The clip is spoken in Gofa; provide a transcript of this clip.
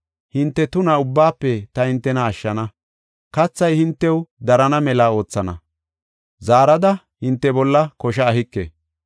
Hinte tuna ubbaafe ta hintena ashshana; kathay hintew darana mela oothana; zaarada hinte bolla kosha ehike.